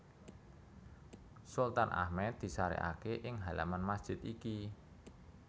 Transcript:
Sultan Ahmed disarèkaké ing halaman masjid iki